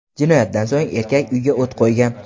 Jinoyatdan so‘ng erkak uyga o‘t qo‘ygan.